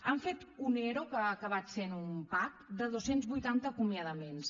han fet un ero que ha acabat sent un pac de dos cents i vuitanta acomiadaments